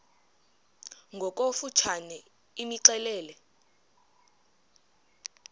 ngokofu tshane imxelele